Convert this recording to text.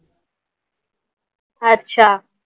अच्छा.